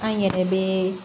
An yɛrɛ bɛ